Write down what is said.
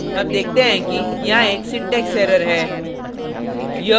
हम देखते हैं कि यहाँ एक syntax error है